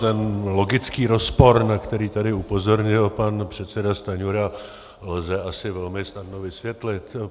Ten logický rozpor, na který tady upozornil pan předseda Stanjura, lze asi velmi snadno vysvětlit.